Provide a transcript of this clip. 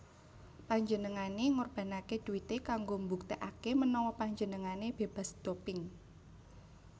Panjenengane ngorbanake duite kanggo mbuktekake menawa panjenengane bebas doping